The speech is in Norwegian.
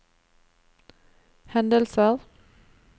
hendelser